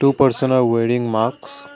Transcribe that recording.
person are wearing mask.